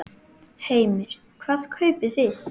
Heimir: Hvað kaupið þið?